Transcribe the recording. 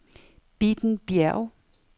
Bitten Bjerg